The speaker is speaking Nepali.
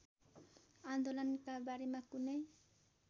आन्दोलनका बारेमा कुनै